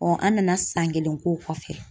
an nana san kelen k'o kɔfɛ